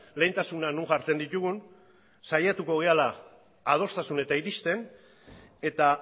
lehentasunak non jartzen ditugun saiatuko garela adostasunetara iristen eta